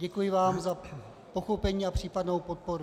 Děkuji vám za pochopení a případnou podporu.